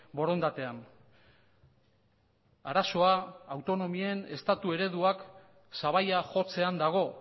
borondatean arazoa autonomien estatu ereduak sabaia jotzean dago